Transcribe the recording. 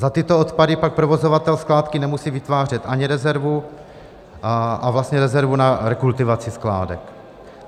Za tyto odpady pak provozovatel skládky nemusí vytvářet ani rezervu a vlastně rezervu na rekultivaci skládek.